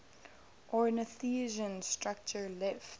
ornithischian structure left